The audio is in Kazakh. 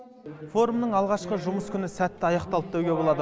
форумның алғашқы жұмыс күні сәтті аяқталды деуге болады